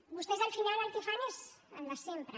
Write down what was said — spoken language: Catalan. vostès al final el que fan és el de sempre